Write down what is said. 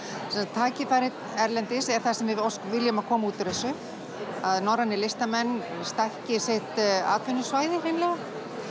tækifæri erlendis er það sem við viljum að komi út úr þessu að norrænir listamenn stækki sitt atvinnusvæði hreinlega